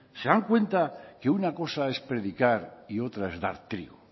se dan cuenta que una cosa es predicar y otra es dar trigo